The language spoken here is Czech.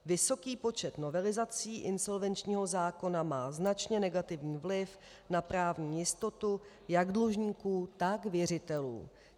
Vysoký počet novelizací insolvenčního zákona má značně negativní vliv na právní jistotu jak dlužníků, tak věřitelů.